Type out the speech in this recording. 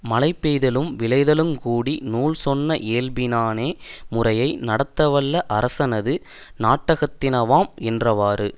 மழைபெய்தலும் விளைதலுங்கூடி நூல் சொன்ன இயல்பினானே முறையை நடத்த வல்ல அரசனது நாட்டகத்தினவாம் என்றவாறு